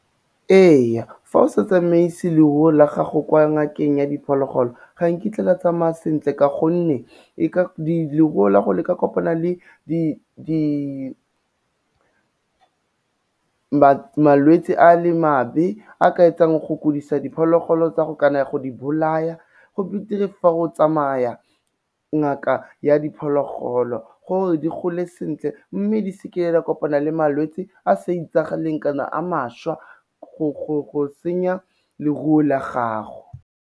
Ee fa o sa tsamaise leruo la gago kwa ngakeng ya diphologolo ga nkitla la tsamaya sentle ka gonne leruo la go le ka kopana le malwetse a le mabe a ka etsang go kodisa diphologolo tsa go kana go di bolaya, go beter-e fa o tsamaya ngaka ya diphologolo, gore di gole sentle mme di seke di a kopana le malwetse a sa itsagaleng kana a mašwa go senya leruo la gago.